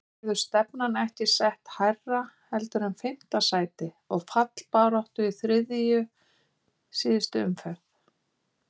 Verður stefnan ekki sett hærra heldur en fimmta sæti og fallbaráttu í þriðju síðustu umferð?